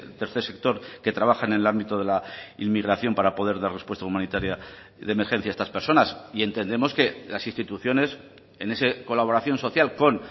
tercer sector que trabajan en el ámbito de la inmigración para poder dar respuesta humanitaria de emergencia a estas personas y entendemos que las instituciones en esa colaboración social con